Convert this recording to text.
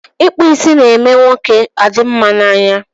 Ịkpụ isi ná-eme ụmụ nwoke adị mma na anya.